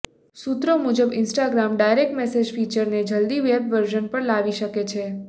સૂત્રો મુજબ Instagram direct message ફીચરને જલ્દી વેબ વર્જન પર લાવી શકે છે